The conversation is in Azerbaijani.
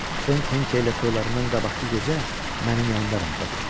Frank Henke ilə toylarından qabaqkı gecə mənim yanımda rənglədi.